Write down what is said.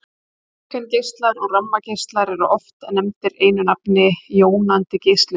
Röntgengeislar og gammageislar eru oft nefndir einu nafni jónandi geislun.